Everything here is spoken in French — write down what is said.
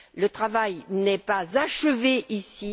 Le travail n'est pas achevé ici.